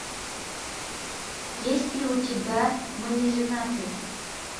есть ли у тебя мы не женаты